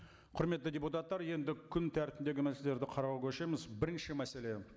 құрметті депутаттар енді күн тәртібіндегі мәселелерді қарауға көшеміз бірінші мәселе